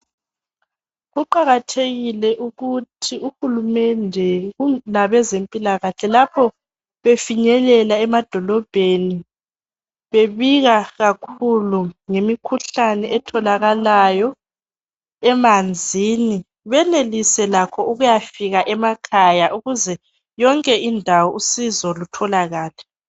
Kuqakathekile ukuthi uhulumende labezempilakahle lapho befinyelela emadolobheni bebika kakhulu ngemikhuhlane etholakalayo emanzini benelise lakho ukuyafika emakhaya ukuze yonke indawo usizo lutholakale.